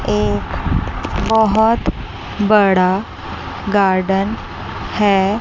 एक बहुत बड़ा गार्डन है।